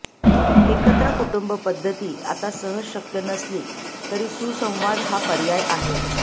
एकत्र कुटुंबपद्धती आता सहजशक्य नसली तरी सुसंवाद हा पर्याय आहे